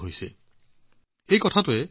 এতিয়া এইবোৰৰ সৌন্দৰ্যই সকলোৰে মন আকৰ্ষিত কৰে